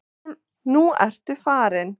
Nú ertu farin.